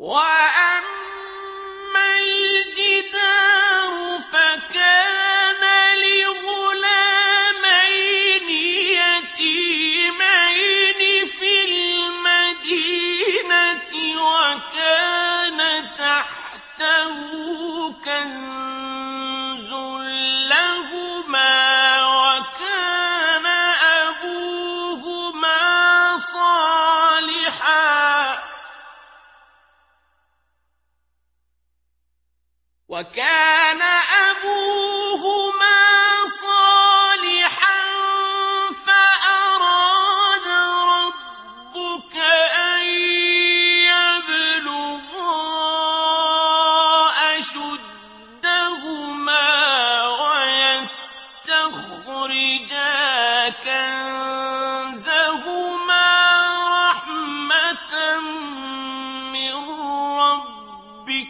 وَأَمَّا الْجِدَارُ فَكَانَ لِغُلَامَيْنِ يَتِيمَيْنِ فِي الْمَدِينَةِ وَكَانَ تَحْتَهُ كَنزٌ لَّهُمَا وَكَانَ أَبُوهُمَا صَالِحًا فَأَرَادَ رَبُّكَ أَن يَبْلُغَا أَشُدَّهُمَا وَيَسْتَخْرِجَا كَنزَهُمَا رَحْمَةً مِّن رَّبِّكَ ۚ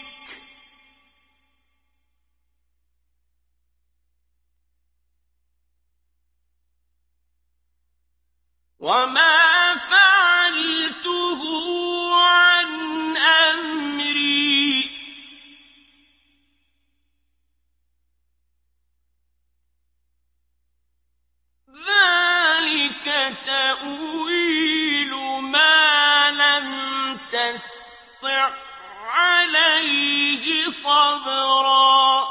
وَمَا فَعَلْتُهُ عَنْ أَمْرِي ۚ ذَٰلِكَ تَأْوِيلُ مَا لَمْ تَسْطِع عَّلَيْهِ صَبْرًا